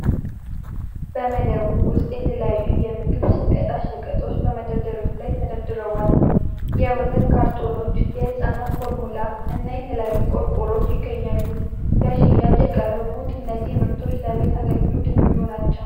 በመደብር ውስጥ የተለያዩ የምግብ ሸቀጣ ሸቀጦች በመደርደሪያዎች ላይ ተደርድረዋል። የወተት ካርቶኖች፣ የሕፃናት ፎርሙላ እና የተለያዩ ቆርቆሮዎች ይገኛሉ። ለሽያጭ የቀረቡት እነዚህ ምርቶች ለቤት አገልግሎት የሚውሉ ናቸው።